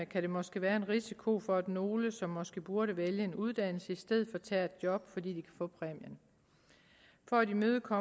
kan der måske være en risiko for at nogle som måske burde vælge en uddannelse i stedet for tager et job fordi de kan få præmien for at imødegå